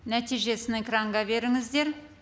нәтижесін экранға беріңіздер